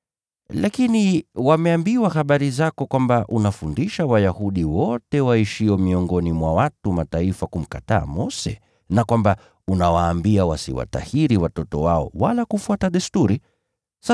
Lakini wameambiwa habari zako kwamba unafundisha Wayahudi wote waishio miongoni mwa watu wa Mataifa kumkataa Mose, na kwamba unawaambia wasiwatahiri watoto wao wala kufuata desturi zetu.